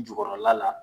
Jukɔrɔla la